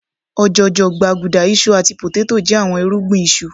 òjòjò, gbaguda, iṣu ati poteto jẹ awọn irugbin isu